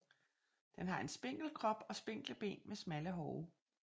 Den har en spinkel krop og spinkle ben med smalle hove